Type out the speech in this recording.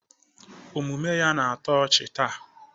Omume ya na-atọ ọchị taa